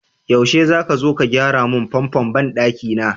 Yaushe zaka zo ka gyara mun famfon banɗaki na?